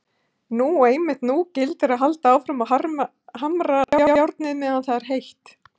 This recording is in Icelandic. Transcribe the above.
Nú og einmitt nú gildir að halda áfram og hamra járnið meðan það er heitt.